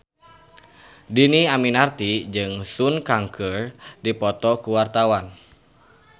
Dhini Aminarti jeung Sun Kang keur dipoto ku wartawan